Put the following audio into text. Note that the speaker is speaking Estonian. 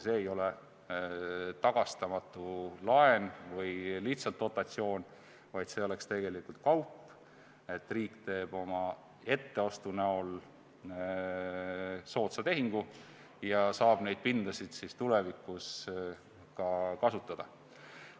See ei ole tagastamatu laen või lihtsalt dotatsioon, vaid see oleks tegelikult kaup, riik teeb oma etteostuga soodsa tehingu ja saab neid pindasid tulevikus ka kasutada.